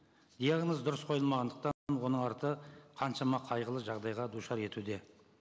диагноз дұрыс қойылмағандықтан оның арты қаншама қайғылы жағдайға душар етуде